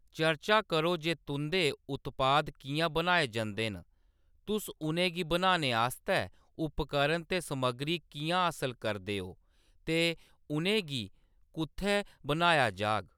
चर्चा करो जे तुंʼदे उत्पाद किʼयां बनाए जंदे न, तुस उʼनेंगी बनाने आस्तै उपकरण ते समग्गरी किʼयां हासल करदे ओ, ते उʼनें गी कुʼत्थै बनाया जाह्‌ग।